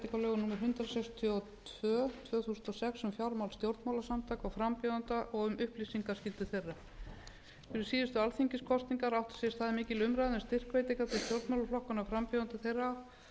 hundrað sextíu og tvö tvö þúsund og sex um fjármál stjórnmálasamtaka og frambjóðenda og um upplýsingaskyldu þeirra fyrir síðustu alþingiskosningar átti sér stað mikil umræða um styrkveitingar til stjórnmálaflokkanna og frambjóðenda þeirra